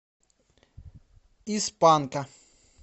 из панка